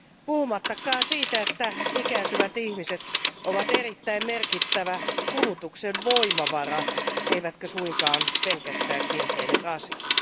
Puhumattakaan siitä, että ikääntyvät ihmiset ovat erittäin merkittävä kulutuksen voimavara, eivätkä suinkaan pelkästään kielteinen rasite.